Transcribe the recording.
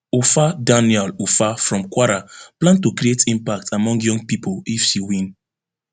ufa dania ufa from kwara plan to create impact among young pipo if she win